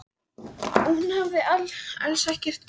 Og hún hafði alls ekkert gert.